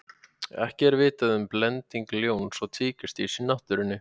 Ekki er vitað um blending ljóns og tígrisdýrs í náttúrunni.